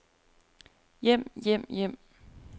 hjem hjem hjem